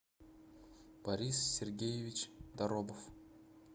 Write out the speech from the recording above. борис сергеевич доробов